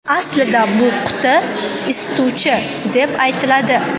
Aslida bu quti isituvchi deb aytiladi.